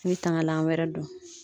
I bɛ tangalan wɛrɛ don.